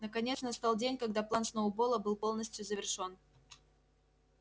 наконец настал день когда план сноуболла был полностью завершён